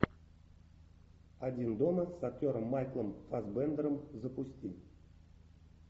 один дома с актером майклом фассбендером запусти